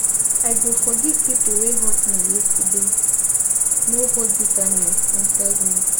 I go forgive people wey hurt me yesterday, no hold bitterness inside me.